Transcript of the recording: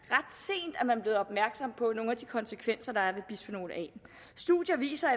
at man blevet opmærksom på nogle af de konsekvenser der er af bisfenol a studier viser